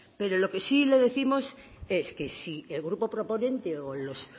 pero lo que sí le décimos es que si el grupo proponente o los